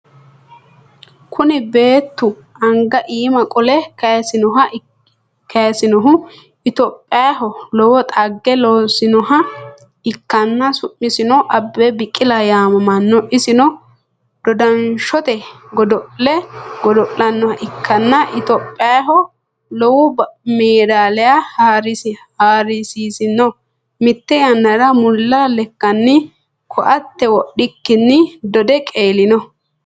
Kuni beettu anga iima qole kayisinnohu itiyopiyaho lowo xagge losinnoha ikkanna su'misino Abebe Biqila yaamamanno. isino dodanshote godo'le godo'lannoha ikkanna itiyopiyaho lowo medaliya haarsisinno. mitte yannara mulla lekkanni koatte wodhikkinni dode qeelino.